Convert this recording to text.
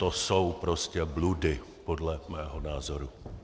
To jsou prostě bludy podle mého názoru.